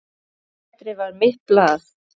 Letrað var mitt blað.